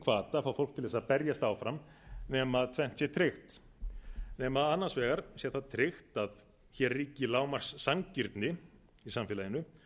að fá fólk til þess að berjast áfram nema tvennt sé tryggt nema að annars vegar sé það tryggt að hér ríki lágmarkssanngirni í samfélaginu